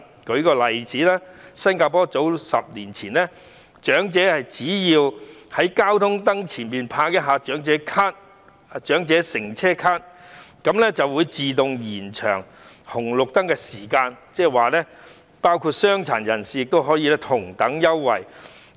舉例而言，在10年前，新加坡的長者只要在交通燈前拍一下長者乘車卡，就會自動延長過路燈號的時間，傷殘人士亦可以享用同一安排。